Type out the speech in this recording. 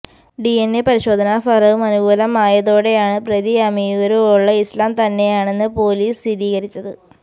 DNA പരിശോധനഫലവും അനുകൂലമായതോടെയാണ് പ്രതി അമിയൂര് ഉള് ഇസ്ലാം തന്നെയാണെന്ന് പോലീസ് സ്ഥിരീകരിച്ചത്